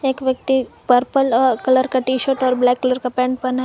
एक व्यक्ति पर्पल अ कलर का टी शर्ट और ब्लैक कलर का पैंट पहना है।